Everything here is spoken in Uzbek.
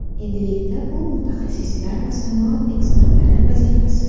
Endilikda bu mutaxassislar va sanoat ekspertlari vazifasi.